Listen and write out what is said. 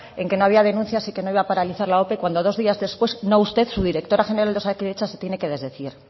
en que no había denuncias y que no iba a paralizar la ope cuando dos días después no usted su directora general de osakidetza se tiene que desdecir